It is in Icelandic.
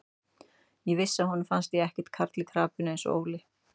Ég vissi að honum fannst ég ekki karl í krapinu eins og Óli.